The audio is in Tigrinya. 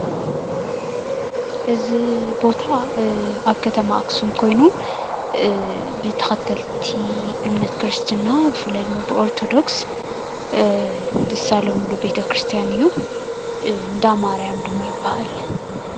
እዚ ቦታ አብ ከተማ አክሱም ኮይኑ ብተከተልቲ እምነት ክርስትና ብፍላይ ድማ ብኦርቶዶክስ ዝሳለምሉ ቤተ ክርስትያን እዩ። እንዳ ማርያም ድማ ይበሃል።